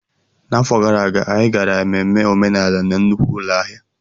N'afọ gara aga, anyị gara ememme omenala na nnukwu ụlọ ahịa.